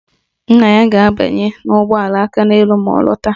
Nna ya ga-abanye ụgbọala Akaneelu ma ọ lọta